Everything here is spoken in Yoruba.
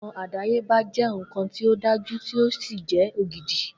Nkan àdáyébá jé nkan tí o dájú tí o sì jẹ ògidì